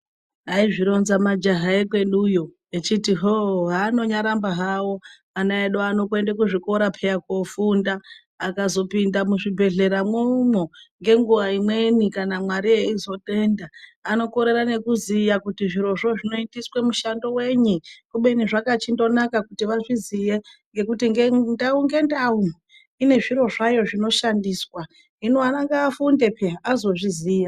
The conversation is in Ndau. Aizvironza majaha ekweduyo echiti hoo hanonyaramba hawo ana edu ano kuende kuzvikorapeya koofunda akazopinda muzvibhehleramwomwo ngenguwa imweni kana Mwari eizotenda anokorera nekuziya kuti zviro zvo zvinoitiswe mushando wenyii, kubeni zvakachindonaka kuti vazviziye ngekuti ndau ngendau inezviro zvayo zvinoshandiswa hino ana ngaafunde peya azozviziya.